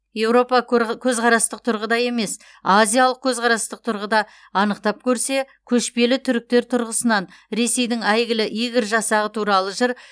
еуропа көзқарастық тұрғыда емес азиялық көзқарастық тұрғыда анықтап көрсе көшпелі түріктер тұрғысынан ресейдің әйгілі игорь жасағы туралы жыр